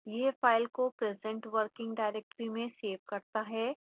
यह फाइल को present working directory में सेव करता है